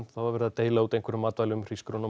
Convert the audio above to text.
það var verið að deila úr matvælum